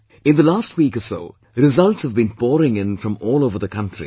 In the last week or so, results have been pouring in from all over the country...